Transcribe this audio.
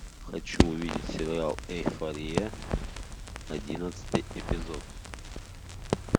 хочу увидеть сериал эйфория одиннадцатый эпизод